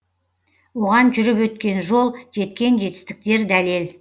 оған жүріп өткен жол жеткен жетістіктер дәлел